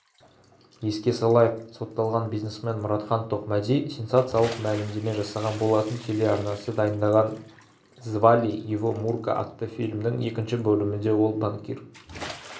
еске салайық сотталған бизнесмен мұратхан тоқмәди сенсациялық мәлімдеме жасаған болатын телеарнасы дайындаған звали его мурка атты фильмнің екінші бөлімінде ол банкир